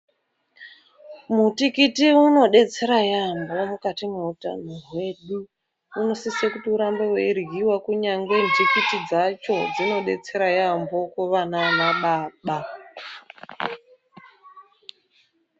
Mutikiti unobetsera yaambo mukati mweutano hwedu. Unosise kuti urambe weiryiwa, kunyange nhikiti dzacho dzinodetsera yaambo kuvana nana baba.